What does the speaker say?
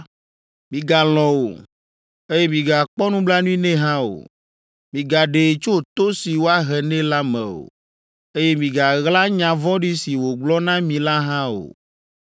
migalɔ̃ o, eye migakpɔ nublanui nɛ hã o. Migaɖee tso to si woahe nɛ la me o, eye migaɣla nya vɔ̃ɖi si wògblɔ na mi la hã o.